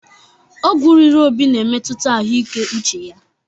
Ọgwụ riri Obi na-emetụta ahụike uche ya.